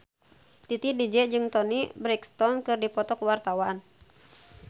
Titi DJ jeung Toni Brexton keur dipoto ku wartawan